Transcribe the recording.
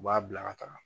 U b'a bila ka taga